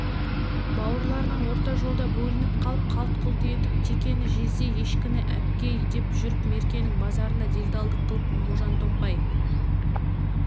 бауырларынан орта жолда бөлініп қалып қалт-құлт етіп текені жезде ешкіні әпке деп жүріп меркенің базарында делдалдық қылып можантомпай